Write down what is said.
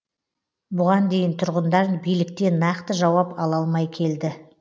бұған дейін тұрғындар биліктен нақты жауап ала алмай келді